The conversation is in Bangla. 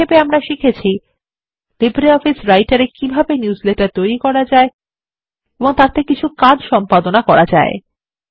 সংক্ষেপে আমরা শিখেছি লিব্রিঅফিস রাইটার এ কিভাবে নিউজলেটার তৈরি করা যায় এবং তাদের ওপর কিছু কাজ সম্পাদনা করা যেতে পারে